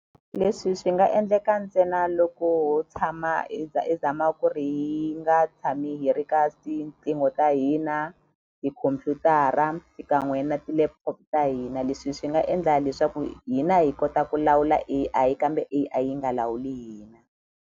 Leswi swi nga endleka ntsena loko ho tshama i i zama ku ri hi nga tshami hi ri ka tiqingho ta hina tikhompyutara xikan'we na ti-laptop ta hina leswi swi nga endla leswaku hina hi kota ku lawula A_I kambe A_I yi nga lawuli hina.